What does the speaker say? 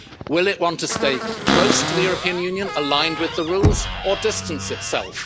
choices. Will it want to stay close to the European Union, aligned with the rules, or distance